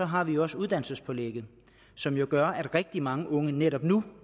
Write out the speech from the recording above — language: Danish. har vi også uddannelsespålægget som jo gør at rigtig mange unge netop nu